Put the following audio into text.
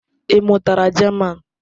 Ị mụtara German?